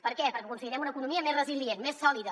per què perquè aconseguirem una economia més resilient més sòlida